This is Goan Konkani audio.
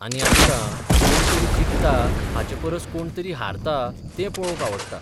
आनी आमकां, कोण तरी जिखता हाचे परस कोण तरी हारता तें पळोवंक आवडटा.